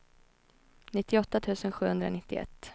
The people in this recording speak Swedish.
nittioåtta tusen sjuhundranittioett